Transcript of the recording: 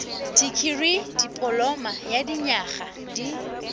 dikirii dipoloma ya dinyaga di